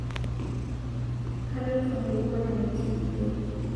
Kaloito nkungwana neti nkitok